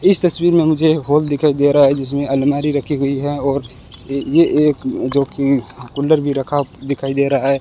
इस तस्वीर में मुझे हॉल दिखाई दे रहा है जिसमें अलमारी रखी हुई है और ये ये एक जो कि कूलर भी रखा दिखाई दे रहा है।